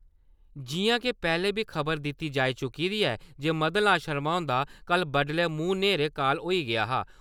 जि'यां जे पैह्ले बी खबर दित्ती जाई चुकी दी ऐ जे मदन लाल शर्मा हुंदा कल बड्डलै मूंह्-न्हेरे काल होई गेआ हा।